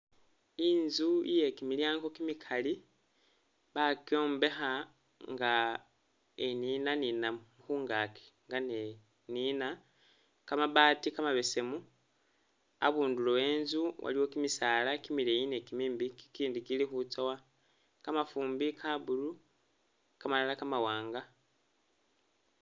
Inzu iye kimilyango kimikali bakyombekha nga eninaninamo khungaaki, nga ne'nina kamabaati kamabesemu abundulo wenzu waliwo kimisaala kimileyi ni kimimbi kikindi kili khutsowa, kamafumbi ka blue kamalala kamawanga